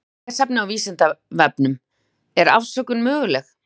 Frekara lesefni á Vísindavefnum: Er afsökun möguleg?